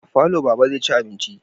A falo Baba zai ci abinci